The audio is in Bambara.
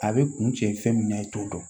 A bɛ kun cɛ fɛn min na i t'o dɔn